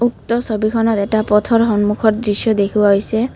উক্ত ছবিখনত এটা পথৰ সন্মুখৰ দৃশ্য দেখুওৱা হৈছে।